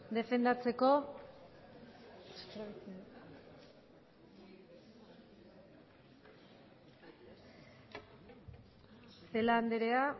defendatzeko celaá andrea